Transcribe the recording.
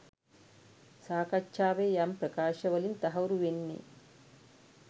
සාකච්ඡාවේ යම් ප්‍රකාශ වලින් තහවුරු වෙන්නෙ.